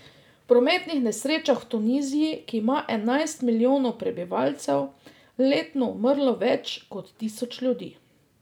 V prometnih nesrečah v Tuniziji, ki ima enajst milijonov prebivalcev, letno umrlo več kot tisoč ljudi.